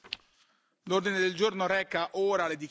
Vi ricordo, care colleghe e cari colleghi,